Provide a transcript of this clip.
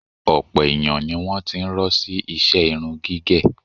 Ọ̀pọ̀ èèyàn ni wọ́n ti ń rọ́ sí iṣẹ irun gígẹ̀